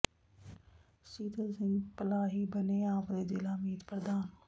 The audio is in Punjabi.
ਸੀਤਲ ਸਿੰਘ ਪਲਾਹੀ ਬਣੇ ਆਪ ਦੇ ਜ਼ਿਲ੍ਹਾ ਮੀਤ ਪ੍ਰਧਾਨ